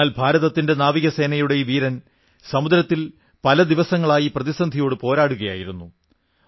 എന്നാൽ ഭാരതത്തിന്റെ നാവികസേനയുടെ ഈ വീരൻ സമുദ്രത്തിൽ പല ദിവസങ്ങളായി പ്രതിസന്ധിയോടു പോരാടുകയായിരുന്നു